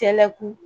Cɛlɛku